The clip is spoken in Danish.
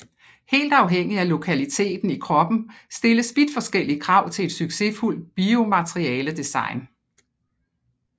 Helt afhængig af lokaliteten i kroppen stilles vidt forskellige krav til et succesfuldt biomaterialedesign